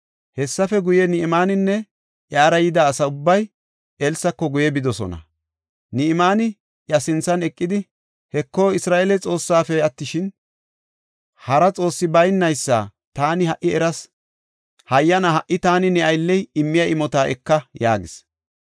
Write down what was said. Hessafe guye, Ni7imaaninne iyara yida asa ubbay Elsako guye bidosona. Ni7imaani iya sinthan eqidi, “Heko, Isra7eele Xoossaafe attishin, hara Xoossi baynaysa taani ha77i eras. Hayyana ha77i taani, ne aylley immiya imota eka” yaagis.